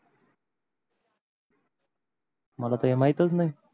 मला तर हे माहीतच नाही